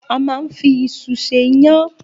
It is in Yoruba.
A máa ń fi iṣu ṣe iyán.